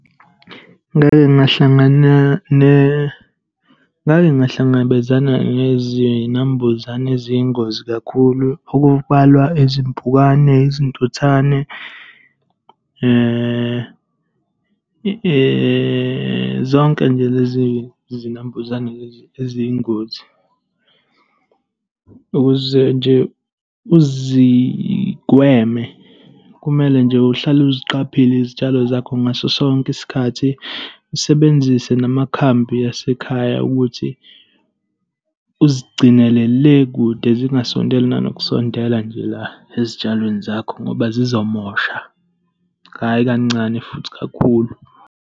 Ngake ngahlangana ngake ngahlangabezana nezinambuzane eziyingozi kakhulu, okubalwa izimpukane, izintuthane zonke nje lezi zinambuzane lezi eziyingozi. Ukuze nje uzigweme, kumele nje uhlale uziqaphile izitshalo zakho ngaso sonke isikhathi. Usebenzise namakhambi asekhaya ukuthi uzigcinele le kude. Zingasondela nanokusondela nje la ezitshalweni zakho ngoba zizomosha. Hhayi kancane futhi, kakhulu.